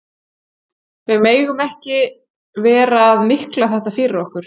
Við megum ekki vera að mikla þetta fyrir okkur.